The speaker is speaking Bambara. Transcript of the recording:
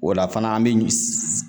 O la fana an bi